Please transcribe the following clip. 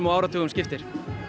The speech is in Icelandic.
áratugum skiptir